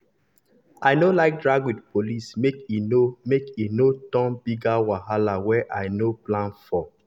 i no like drag with police make e no make e no turn bigger wahala wey i no plan for.